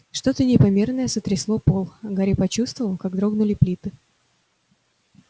что-то непомерное сотрясло пол гарри почувствовал как дрогнули плиты